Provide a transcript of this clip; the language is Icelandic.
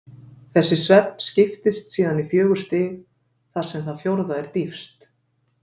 Þessi svefn skiptist síðan í fjögur stig, þar sem það fjórða er dýpst.